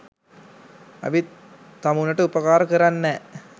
ඇවිත් තමුනට උපකාර කරන්නැ